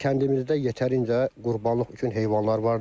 Kəndimizdə yetərincə qurbanlıq üçün heyvanlar vardır.